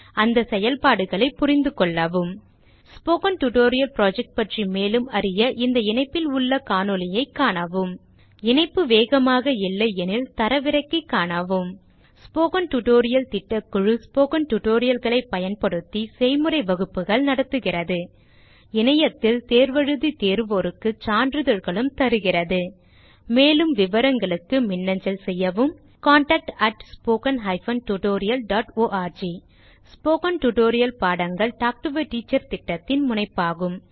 அதன் செயல்பாடுகளை புரிந்துகொள்ளவும் ஸ்போக்கன் டியூட்டோரியல் புரொஜெக்ட் பற்றி மேலும் அறிய இந்த இணைப்பில் உள்ள காணொளியைக காணவும் இது ஸ்போக்கன் டியூட்டோரியல் திட்டத்தை சுருங்க சொல்கிறது இணைப்பு வேகமாக இல்லையெனில் தரவிறக்கி காணவும் ஸ்போக்கன் டியூட்டோரியல் திட்டக்குழு ஸ்போக்கன் tutorial களைப் பயன்படுத்தி செய்முறை வகுப்புகள் நடத்துகிறது இணையத்தில் தேர்வு எழுதி தேர்வோருக்கு சான்றிதழ்களும் அளிக்கிறது மேலும் விவரங்களுக்கு மின்னஞ்சல் செய்யவும் contactspoken tutorialorg ஸ்போகன் டுடோரியல் பாடங்கள் டாக் டு எ டீச்சர் திட்டத்தின் முனைப்பாகும்